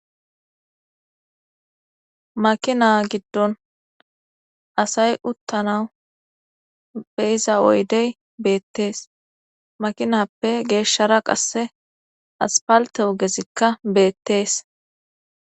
makina giddon asay uttana beyiza oydey beettees makinappe geeshshara qasse aspalte ogezikka beettees